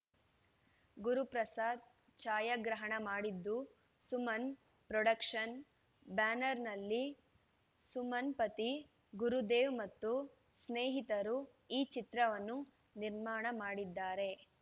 ಗುರು ಪ್ರಸಾದ್‌ ಛಾಯಾಗ್ರಹಣ ಮಾಡಿದ್ದು ಸುಮನ್‌ ಪ್ರೊಡಕ್ಷನ್ಸ್‌ ಬ್ಯಾನರ್‌ನಲ್ಲಿ ಸುಮನ್‌ ಪತಿ ಗುರುದೇವ್‌ ಮತ್ತು ಸ್ನೇಹಿತರು ಈ ಚಿತ್ರವನ್ನು ನಿರ್ಮಾಣ ಮಾಡಿದ್ದಾರೆ